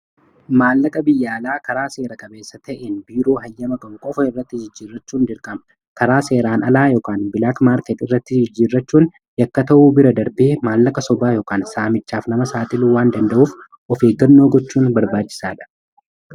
Maallaqa biyya alaa karaa seera qabeessa ta'een biiroo hayyama qabu qofa irratti jijjiirrachuun dirqama. Karaa seeraan alaa yookaan bilaak market irratti jijjiirrachuun yakka ta'uu bira darbee maallaqa sobaa yookiin saamichaaf nama saaxilu waan danda'uuf of eeggannoo gochuun barbaachisaadha.